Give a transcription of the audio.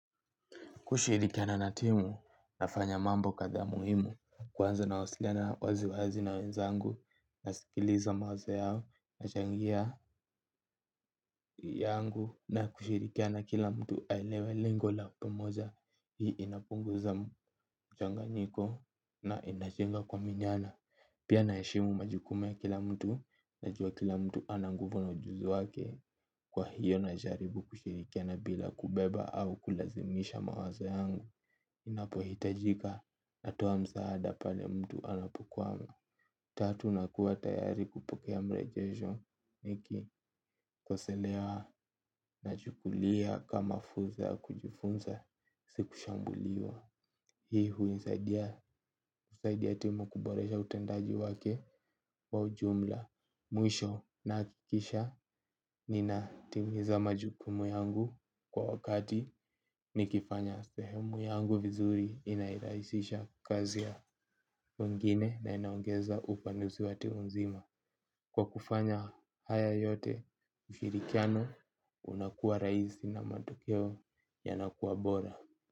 Kushirikiana na timu, nafanya mambo kadhaa muhimu, kwanza nawasiliana wazi wazi na wenzangu, nasikiliza mawazo yao, nachangia yangu, na kushirikana kila mtu aelewe lengo la pamoja, hii inapunguza mchanganyiko na inajenga kuminyana. Pia naheshimu majukumu ya kila mtu najua kila mtu ana nguvu na ujuzu wake kwa hivyo najaribu kushirikiana bila kubeba au kulazimisha mawazo yangu inapohitajika natuwa msaada pale mtu anapokwama. Tatu nakuwa tayari kupokea mrejesho nikikoseleana nachukulia kama fursa ya kujufunza si kushambuliwa. Hii huisaidia timu kuboresha utendaji wake wa ujumla. Mwisho nakikisha nina timiza majukumu yangu kwa wakati. Nikifanya sehemu yangu vizuri inairaisisha kazi ya wengine na inaongeza upanuzi wa timu nzima. Kwa kufanya haya yote ushirikiano unakuwa rahisi na matokeo yanakuwa bora.